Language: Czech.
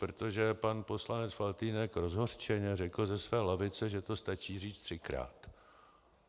Protože pan poslanec Faltýnek rozhořčeně řekl ze své lavice, že to stačí říct třikrát.